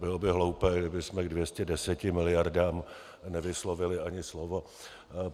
Bylo by hloupé, kdybychom k 210 miliardám nevyslovili ani slovo.